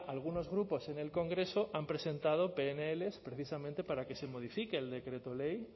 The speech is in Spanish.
algunos grupos en el congreso han presentado pnl precisamente para que se modifique el decreto ley